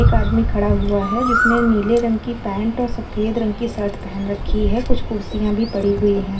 एक आदमी खड़ा हुआ है जिसने नीले रंग की पैंट और सफ़ेद रंग की शर्ट पहन रखी है। कुछ कुर्सियां भी पड़ी हुई हैं। ।